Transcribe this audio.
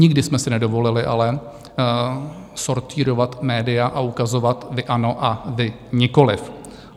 Nikdy jsme si nedovolili ale sortýrovat média a ukazovat: Vy ano a vy nikoliv.